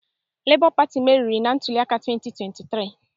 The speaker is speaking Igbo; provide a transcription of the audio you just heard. Labour Party meriri ntuli aka 2023